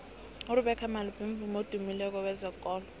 urebeca malope mvumi odumileko wezekolo